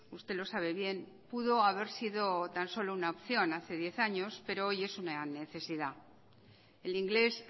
usted lo sabe bien pudo haber sido tan solo una opción hace diez años pero hoy es una necesidad el inglés